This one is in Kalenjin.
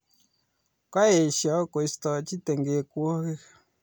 Kaesho koistochi tengekwogik